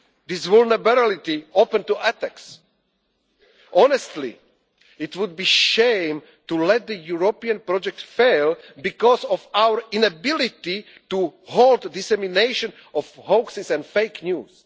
hardware but leave this vulnerability open to attacks. Honestly, it would be shame to let the European project fail because of our inability to halt the dissemination of hoaxes